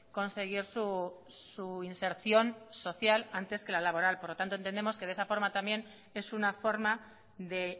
conseguir su inserción social antes que la laboral por lo tanto entendemos que de esa forma también es una forma de